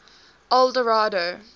eldorado